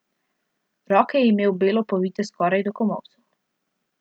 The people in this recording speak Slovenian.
Roke je imel belo povite skoraj do komolcev.